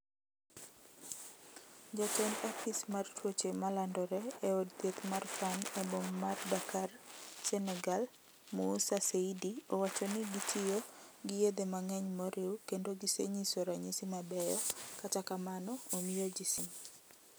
Jatend apis mar tuoche ma landore e od thieth ma Fann e boma mar Dakar Senegal Moussa Seydi owacho ni gitiyo gi yethe mang'eny moriw kendo gisenyiso ranyisi mabeyo kata kamano omiyoji siem.